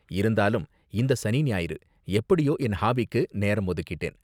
இருந்தாலும் இந்த சனி ஞாயிறு எப்படியோ என் ஹாபிக்கு நேரம் ஒதுக்கிட்டேன்.